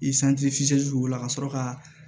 o la ka sɔrɔ ka